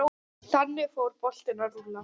Þannig fór boltinn að rúlla.